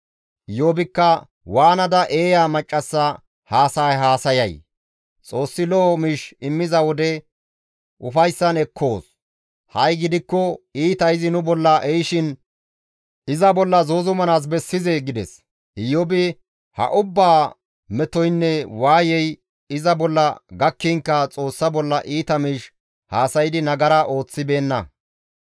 Iyoobikka, «Waanada eeya maccassa haasaya haasayay? Xoossi lo7o miish immiza wode ufayssan ekkoos; ha7i gidikko iita izi nu bolla ehishin iza bolla zuuzumanaas bessizee?» gides. Iyoobi ha ubbaa metoynne waayey iza bolla gakkinkka izi Xoossa bolla iita miish haasaydi nagara ooththibeenna.